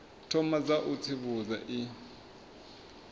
thoma dza u tsivhudza i